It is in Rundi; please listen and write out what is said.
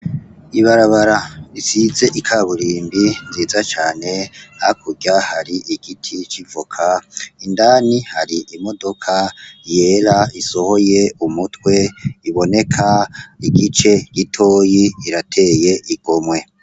Ibarabara risize ikaburimbi nziza cane hakurya hari igiti c'ivoka, indani hari imodoka yera isohoye umutwe iboneka igice gitoyi, irateye igomwe.